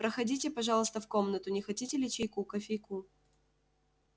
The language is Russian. проходите пожалуйста в комнату не хотите ли чайку кофейку